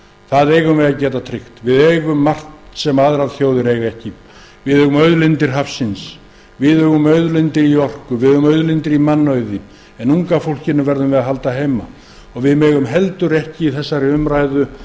það eigum við að geta tryggt við eigum margt sem aðrar þjóðir eiga ekki við eigum auðlindir hafsins við eigum auðlindir í orku við eigum auðlindir í mannauði en unga fólkinu verðum við að halda heima við megum heldur ekki